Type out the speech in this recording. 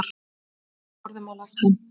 Við horfðum á lækninn.